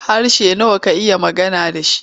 Harshe nawa ka iya magana da shi?